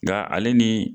Nka ale ni